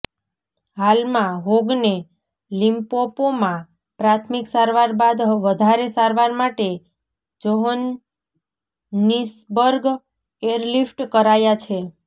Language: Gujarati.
હાલમાં હોગને લિંપોપોમાં પ્રાથમિક સારવાર બાદ વધારે સારવાર માટે જોહનિસબર્ગ એરલિફ્ટ કરાયા છે